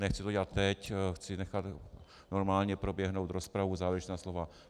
Nechci to dělat teď, chci nechat normálně proběhnout rozpravu, závěrečná slova.